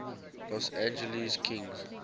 los angeles kings